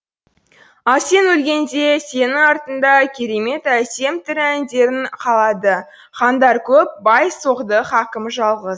ал сен өлгенде сенің артыңда керемет әсем тірі әндерің қалады хандар көп бай соғды хакім жалғыз